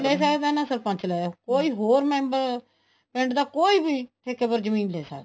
ਲੈ ਸਕਦਾ ਨਾ ਹੀ ਸਰਪੰਚ ਲੇ ਸਕਦਾ ਕੋਈ ਹੋਰ member ਪਿੰਡ ਦਾ ਕੋਈ ਵੀ ਠੇਕੇ ਪਰ ਜ਼ਮੀਨ ਲੈ ਸਕਦਾ ਹੈ